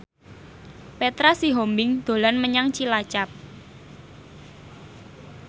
Petra Sihombing dolan menyang Cilacap